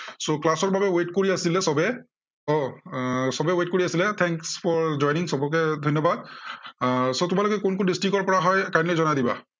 so class ৰ বাবে wait কৰি আছিলে সৱে। এৰ আহ সৱেই wait কৰি আছিলে। thanks for joining সৱকে ধন্য়বাদ। so তোমালোকে কোন কোন district ৰ পৰা হয় kindly জনাই দিবা।